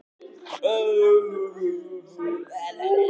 Mynd: Jólasveinarnir.